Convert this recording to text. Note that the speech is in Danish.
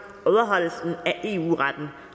overholdelsen af eu retten